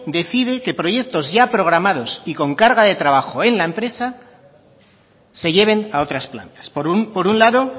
decide que proyectos ya programados y con carga de trabajo en la empresa se lleven a otras plantas por un lado